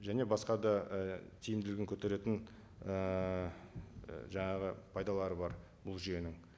және басқа да і тиімділігін көтеретін ііі жаңағы пайдалары бар бұл жүйенің